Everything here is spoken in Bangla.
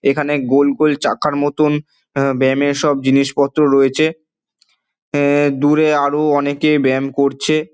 এখানে গোল গোল চাকার মতন অ্যা ব্যায়াম এর সব জিনিস পত্র রয়েছে। উমম দূরে আরো অনেকে ব্যায়াম করছে।